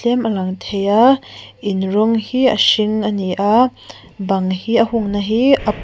tlem a lang thei a in rawng hi a hring ani a bang hi a hung na hi a pawl--